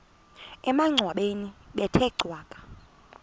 emangcwabeni bethe cwaka